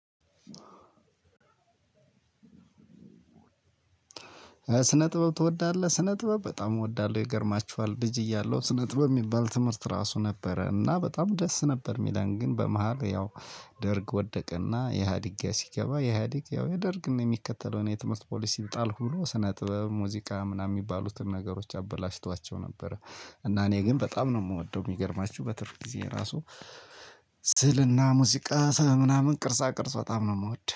ስነ ጥበብ ትወዳለህ ስነ ጥበብ በጣም እወዳለሁ ይገርማችኋል ልጅ እያለሁት ስነ ጥበብ የሚባል ትምህርት ራሱ ነበረ እና በጣም ደስ ነበር የሚለን ግን በመሃል ያው ደርግ ወደቀና ኢሀዲጋ ሲገባ ኢሀዲግ ያው የደርግን የሚከተለውን የትምህርት ፖሊሲ ጣልኩ ብሎ ስነ ጥበብ ሙዚቃ ምናምን የሚባሉትን ነገሮች አበላሽቷቸው ነበር። እና እኔ ግን በጣም ነው የምወደው የሚገርማችሁ በትርፍ ጊዜ ራሱ ስዕልና ሙዚቃ ስነ ምናምን ቅርፃ ቅርጽ በጣም ነው የምወደው